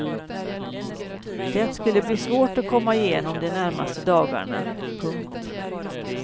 Det skulle bli svårt att komma igenom de närmaste dagarna. punkt